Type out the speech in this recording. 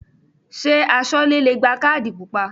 Ṣé Aṣọ́lẹ́ le gba kádì pupa?